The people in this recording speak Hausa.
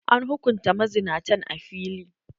An hukunta mazinatan a fili.